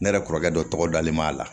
Ne yɛrɛ kɔrɔkɛ dɔ tɔgɔ dalen b'a la